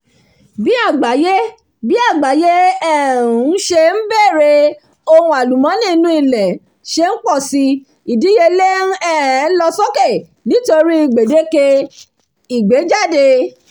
bí agbaye bí agbaye ṣe um ń bèrè ohun àlùmọ́nì inú ilẹ̀ ṣe ń pọ̀si ìdíyelé ń um lọ sókè nítorí gbèdéke ìgbéjáde